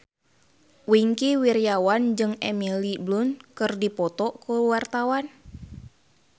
Wingky Wiryawan jeung Emily Blunt keur dipoto ku wartawan